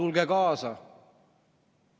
Tulge kaasa!